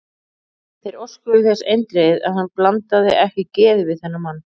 Þeir óskuðu þess eindregið, að hann blandaði ekki geði við þennan mann.